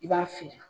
I b'a fiyɛ